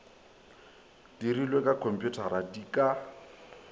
dirilwe ka khomphuthara di ka